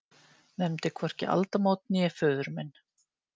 Nefndi hvorki aldamót né föður minn.